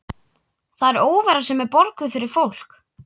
Það er óvera sem er borguð fyrir fólk.